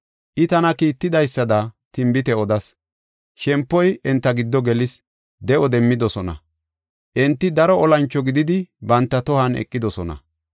I tana kiittidaysada tinbite odas; shempoy enta giddo gelis; de7o demmidosona; enti daro olancho gididi banta tohon eqidosona.